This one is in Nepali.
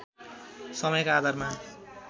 समयका आधारमा